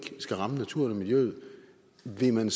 skal ramme naturen og miljøet så vil man